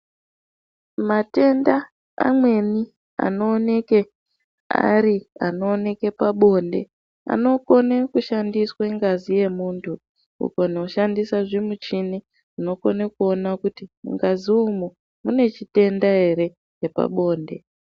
Matenda amweni anooneke ari anooneke pabonde anokone kushandiswe ngazi yemuntu, wogona kushandisa zvimuchini zvinokone kuona kuti mungazi umwu mune chitenda ere chepabonde.